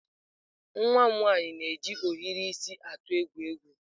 Nwa m nwanyị na-eji ohiri isi atụ egwu egwu.